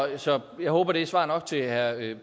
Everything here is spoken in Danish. så jeg håber det er svar nok til herre